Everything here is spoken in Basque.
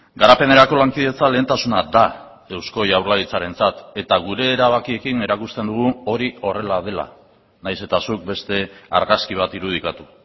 garapenerako lankidetza lehentasuna da eusko jaurlaritzarentzat eta gure erabakiekin erakusten dugu hori horrela dela nahiz eta zuk beste argazki bat irudikatu